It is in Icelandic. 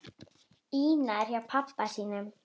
Ína er hjá pabba sínum.